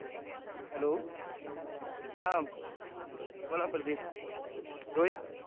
hello हा बोल परदीप रोहित